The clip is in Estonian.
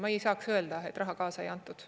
Ma ei saaks öelda, et raha kaasa ei antud.